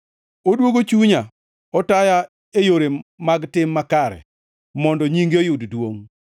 odwogo chunya. Otaya e yore mag tim makare mondo nyinge oyud duongʼ.